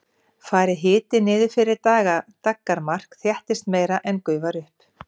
fari hiti niður fyrir daggarmark þéttist meira en gufar upp